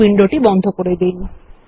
এই উইন্ডোটি বন্ধ করুন